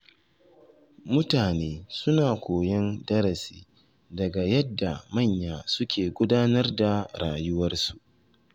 Mutane suna koyon darasi daga yadda manya suke gudanar da rayuwarsu